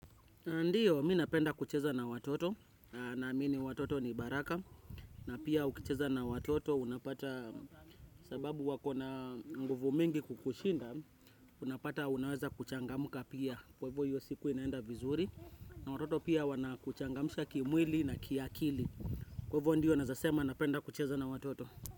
Ndio, mimi napenda kucheza na watoto na amini watoto ni baraka na pia ukicheza na watoto unapata sababu wako na nguvu mingi kukushinda unapata unaweza kuchangamka pia kwa hivyo hiyo siku inaenda vizuri na watoto pia wana kuchangamusha kimwili na kiakili kwa hivyo ndio nawezasema napenda kucheza na watoto.